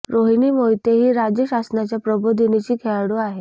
रोहिणी मोहिते ही राज्य शासनाच्या प्रबोधिनीची खेळाडू आहे